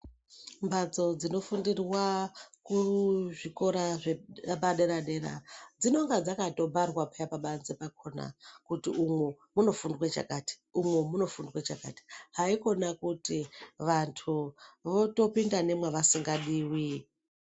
Mbatso dzinofundirwa kuzvikora zvepa dera dera dzinonga dzakatoparwa peya pabanze pakona kuti umo munofundwe chakati umu munofundwa chakati haikona kuti vantu votopinda nevamwasingadiwi.